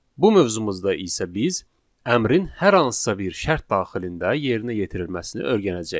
Bu mövzumuzda isə biz əmrin hər hansısa bir şərt daxilində yerinə yetirilməsini öyrənəcəyik.